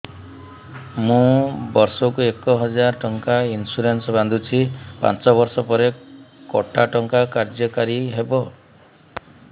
ମୁ ବର୍ଷ କୁ ଏକ ହଜାରେ ଟଙ୍କା ଇନ୍ସୁରେନ୍ସ ବାନ୍ଧୁଛି ପାଞ୍ଚ ବର୍ଷ ପରେ କଟା ଟଙ୍କା କାର୍ଯ୍ୟ କାରି ହେବ